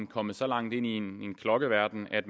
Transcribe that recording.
kommet så langt ind i en klokkeverden at